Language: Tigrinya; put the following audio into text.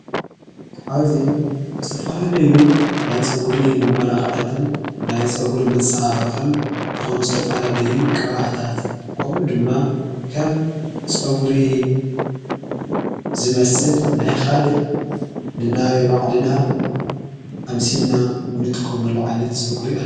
ኣብዙይ ዝተፈላለእዩ ናይ ጸጕሪ መመላኻታትን ናይ ጸጕሪ መጽባበቕን ዝኾኑ ዝተፈላልዩ ቅብኣታት ኮምኡ ድማ ከም ጸጕሪ ዝመስል ናይኻሊእ ንናይ ባዕልና ኣምሲልና ንጥቀመሎ ዓይነት ጸጕሪ አሎ ::